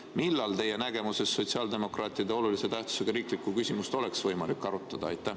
Millal teie nägemuses sotsiaaldemokraatide olulise tähtsusega riiklikku küsimust oleks võimalik arutada?